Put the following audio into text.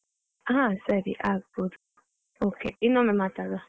ಹ ಸರಿ ಆಗ್ಬೋದು, okay ಇನ್ನೊಮ್ಮೆ ಮಾತಾಡುವ.